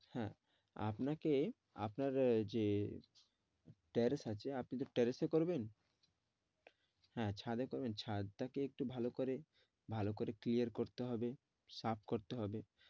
হ্যাঁ আপনাকে, আপনার যে ট্যারেশ আছে, আপনি তো ট্যারেশ এ করবেন হ্যাঁ ছাঁদে করবেন ছাঁদ টা কে একটু ভালো করে ভালো কোরতে clear করতে হবে সাফ করতে হবে,